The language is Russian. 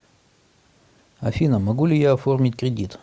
афина могу ли я оформить кредит